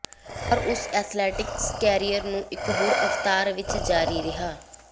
ਪਰ ਉਸ athletic career ਨੂੰ ਇਕ ਹੋਰ ਅਵਤਾਰ ਵਿਚ ਜਾਰੀ ਰਿਹਾ